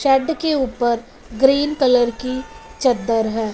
छत के ऊपर ग्रीन कलर की चद्दर है।